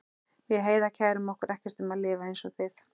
Við Heiða kærum okkur ekkert um að lifa einsog þið.